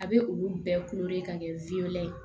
A bɛ olu bɛɛ ka kɛ ye